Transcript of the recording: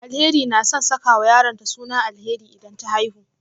Alheri na son sakawa yaronta suna Alheri idan ta haihu